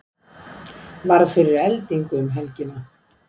Varð fyrir eldingu um helgina